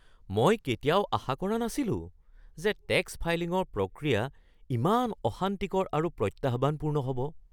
মই কেতিয়াও আশা কৰা নাছিলোঁ যে টেক্স ফাইলিঙৰ প্ৰক্ৰিয়া ইমান অশান্তিকৰ আৰু প্ৰত্যাহ্বানপূৰ্ণ হ'ব।